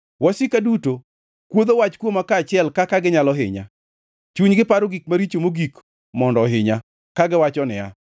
Wasika duto kuodho wach kuoma kaachiel kaka ginyalo hinya, chunygi paro gik maricho mogik mondo ohinya, kagiwacho niya,